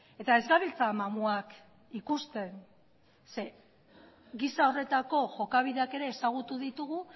eta ez gabiltza mamuak ikusten zeren eta giza horretako jokabideak ezagutu ditugu